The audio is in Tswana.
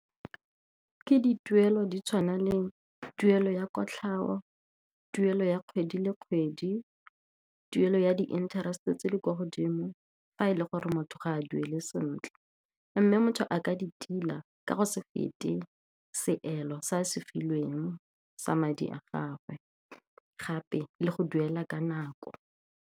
Ke dituelo di tshwana le tuelo ya kotlhao, tuelo ya kgwedi le kgwedi, tuelo ya di-interest-e tse di kwa godimo fa e le gore motho ga duele a sentle. Mme motho a ka di tila ka go se fete seelo se a se filweng sa madi a gagwe, gape le go duela ka nako.